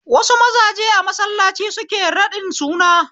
Wasu mazaje a mallaci suke raɗin suna